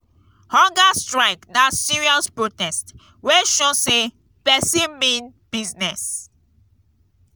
hunger strike na serious protest wey show say pesin mean business.